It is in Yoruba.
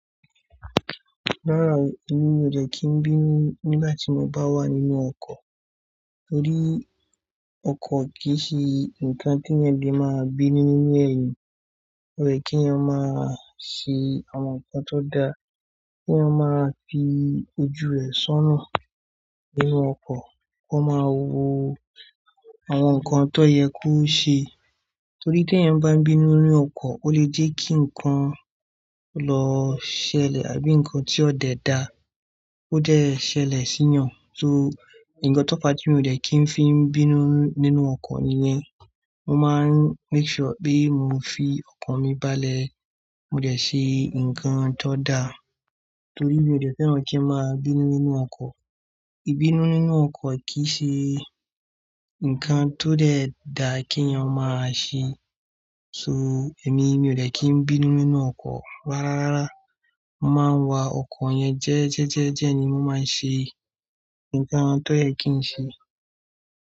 Rárá, èmi mi ò dẹ́ kí n bínú nígbà tí mo bá wà nínú ọkọ̀. Torí ọkọ̀ kì í ṣe ǹkan tí èèyàn lè máa bínú nínú ẹ̀. O yẹ kí èèyàn máa ṣe àwọn nǹkan tó da, kí wọ́n máa fi ojú ẹ sọ́na nínú ọkọ̀, kí wọ́n máa wo àwọn nǹkan tó yẹ kó ṣe. Torí tí èèyàn bá bínú nínú ọkọ̀, o lè jẹ́ kí ǹkan lọ ṣẹlẹ̀ àbí ǹkan tí ó dẹ da, ó dẹ́ ṣẹlẹ̀ sí eeyàn. So, ǹkan tó fa tí mi ò dẹ́ kí n fi ń bínú nínú ọkọ̀ ni yén. Mo máa ń make sure pé mo fi ọkan mi bá lẹ̀. Mo dẹ́ ṣe ǹkan tó da torí mi ò dẹ́ fẹ́ràn kí n máa bínú nínú ọkọ̀. Ibínú nínú ọkọ̀ kì í ṣe ǹkan tó dẹ́ da kí èèyàn máa ṣe. So, èmi, mi ò dẹ́ kí n bínú nínú ọkọ̀ rárá rara. Mo máa ń wa ọkọ̀ yẹn jẹ́ẹ́jẹ́jẹ́jẹ́ ni mo máa ń ṣe ǹkan tó yẹ kí n ṣe.